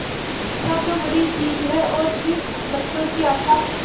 आशा तो बड़ी चीज है और फिर बच्चों की आशा